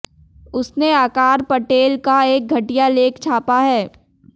उसने आकार पटेल का एक घटिया लेख छापा है